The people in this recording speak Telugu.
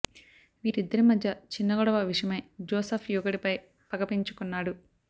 వీరిద్దరి మధ్య చిన్న గొడవ విషయమై జోసఫ్ యువకుడిపై పగ పెంచుకున్నాడు